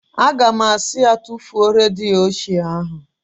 Aga m asị ya, tufuo redio ochie ahụ!